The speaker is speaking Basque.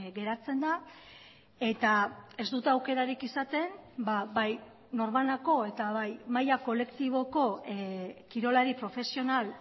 geratzen da eta ez dute aukerarik izaten bai norbanako eta bai maila kolektiboko kirolari profesional